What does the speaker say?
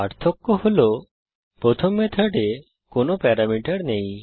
পার্থক্য হল প্রথম মেথডে কোনো প্যারামিটার নেই